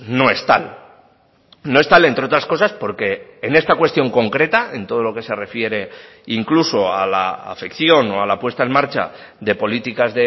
no es tal no es tal entre otras cosas porque en esta cuestión concreta en todo lo que se refiere incluso a la afección o a la puesta en marcha de políticas